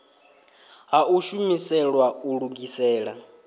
ha u shumiselwa u lugisela